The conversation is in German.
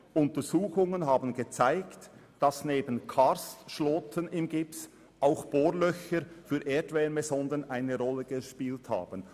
«Untersuchungen haben gezeigt, dass neben Karstschloten im Gips auch Bohrlöcher für eine Erdwärmesonde eine Rolle gespielt haben.